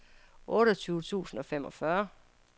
otteogtyve tusind og femogfyrre